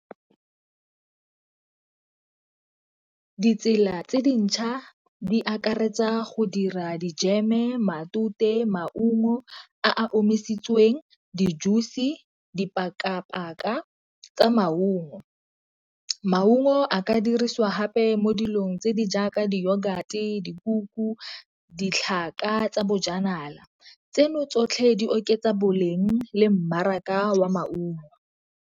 Ditsela tse dintšha di akaretsa go dira dijeme, matute, maungo a a omisitsweng, di-juice, dipaka-paka tsa maungo. Maungo a ka dirisiwa hape mo dilong tse di jaaka yoghurt, dikuku, ditlhaka tsa bojanala. Tseno tsotlhe di oketsa boleng le mmaraka wa maungo.